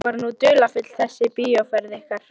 Hún var nú dularfull þessi bíóferð ykkar.